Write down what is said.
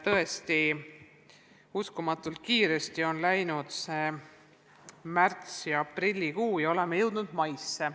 Tõesti, uskumatult kiiresti on läinud need märtsi- ja aprillikuu, ja olemegi jõudnud maisse.